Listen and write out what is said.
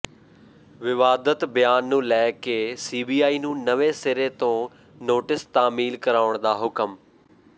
ਵਿਵਾਦਤ ਬਿਆਨ ਨੂੰ ਲੈ ਕੇ ਸੀਬੀਆਈ ਨੂੰ ਨਵੇਂ ਸਿਰੇ ਤੋਂ ਨੋਟਿਸ ਤਾਮੀਲ ਕਰਾਉਣ ਦਾ ਹੁਕਮ